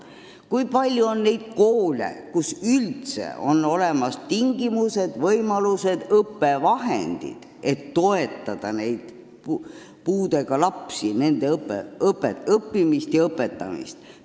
Kui palju on koole, kus üldse on olemas tingimused, võimalused ja õppevahendid, et toetada puuetega lapsi, nende õppimist ja õpetamist?